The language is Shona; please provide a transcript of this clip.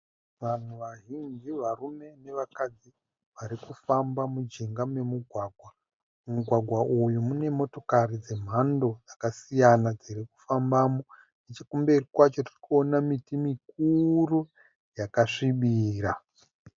Vanhu vazhinji varume nevakadzi varikufamba mujinga memugwagwa. Mumugwagwa uyu mune motokari dzemhando dzakasiyana dzirikufambamo. Nechekumberi kwacho tirikuona miti mikuru yakasvibira.